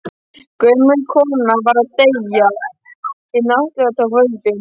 Gömul kona var að deyja og hið yfirnáttúrlega tók völdin.